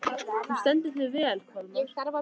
Þú stendur þig vel, Kolmar!